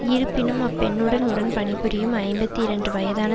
இருப்பினும் அப் பெண்ணுடன் உடன் பணிபுரியும் ஐம்பத்தி இரண்டு வயதான